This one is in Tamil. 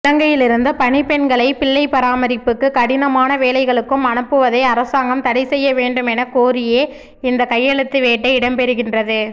இலங்கையிலிருந்து பணிப்பெண்களை பிள்ளைப் பராமரிப்புக்கும் கடினமான வேலைகளுக்கும் அனுப்புவதை அரசாங்கம் தடைசெய்ய வேண்டுமென கோரியே இந்த கையெழுத்து வேட்டை இடம்பெறுகின்றது